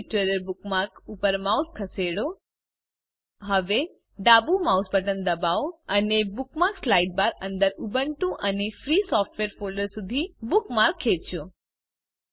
spoken tutorial bookmark ઉપર mouse ખસેડો હવે ડાબું માઉસ બટન દબાવો અને બુકમાર્ક્સ સાઇડબાર અંદર Ubuntu and free software folder સુધી સુધી બુકમાર્ક ખેંચો